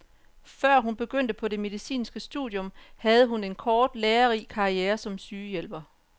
Før hun begyndte på det medicinske studium havde hun en kort, lærerig karriere som sygehjælper.